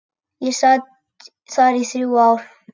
Ég sat þar í þrjú ár.